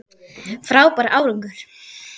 Frábær árangur